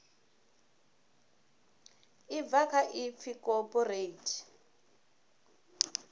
ḽi bva kha ipfi cooperate